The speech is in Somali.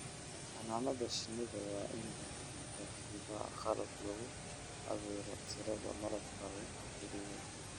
Xannaanada shinnida waa in lagu rakibaa qalab lagu cabbiro tirada malabka la ururiyay.